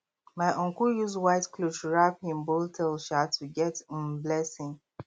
my uncle use white cloth wrap him bull tail um to get um blessing